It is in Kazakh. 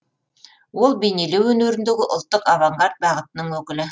ол бейнелеу өнеріндегі ұлттық авангард бағытының өкілі